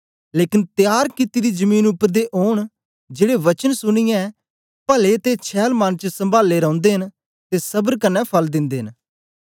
लेकन तयार कित्ती दी जमीन उपर दे ओन जेड़े वचन सुनिऐं पले ते छैल मन च सम्भाले रौंदे न ते सबर कन्ने फल दिन्दे न